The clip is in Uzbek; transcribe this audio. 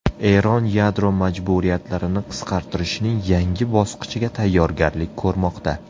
Eron yadro majburiyatlarini qisqartirishning yangi bosqichiga tayyorgarlik ko‘rmoqda.